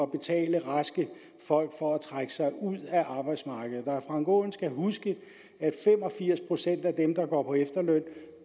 betale raske folk for at trække sig ud af arbejdsmarkedet herre frank aaen skal huske at fem og firs procent af dem der går på efterløn